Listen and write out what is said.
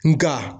Nga